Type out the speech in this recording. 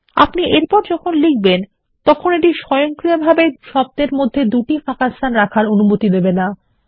আপনি এরপর যখন লিখবেন তখন এটি স্বয়ংক্রিয়ভাবে দুটি শব্দের মধ্যে জোড়া ফাঁকাস্থান রাখার অনুমতি দেবে না